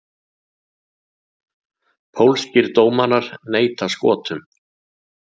Pólskir dómarar neita Skotum